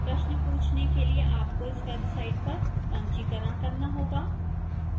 प्रश्न पूछने के लिए आपको इस website पर पंजीकरण करना होगा